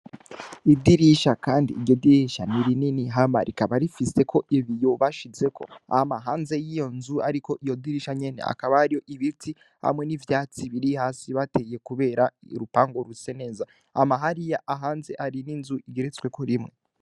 Idirisha, kandi iryo dirisha n'iri nini hama rikaba rifiseko ibi yobashizeko ama hanze yiyo nzu, ariko iyo dirisha nyene akaba ariyo ibiti hamwe n'ivyatsi biri hasi bateye, kubera irupango rutse neza ama hariya ahanze ari n'inzu igeretsweko rimwe.